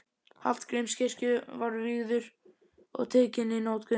Hallgrímskirkju var vígður og tekinn í notkun.